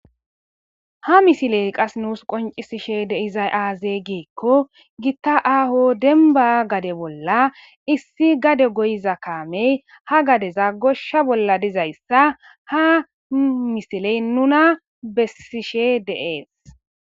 Ha missile nussi qonccisiday azze gikko gita aho dembba bolla issi gade goyida kame ha gadera gosha bolla diza issa ha misile nuna beesishe des